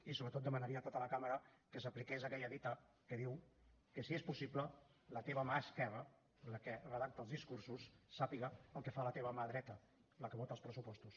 i sobretot demanaria a tota la cambra que s’apliqués aquella dita que diu que si és possible la teva mà esquerra la que redacta els discursos sàpiga el que fa la teva mà dreta la que vota els pressupostos